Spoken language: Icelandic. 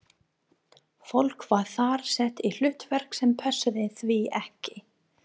Fólk var þar sett í hlutverk sem pössuðu því ekki.